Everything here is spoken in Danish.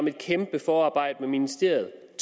et kæmpe forarbejde med ministeriet